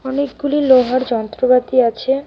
অনেকগুলি লোহার যন্ত্রপাতি আছে.